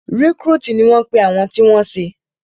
Rìkrútìì ni wọ́n pe àwọn tí wọ́n ṣé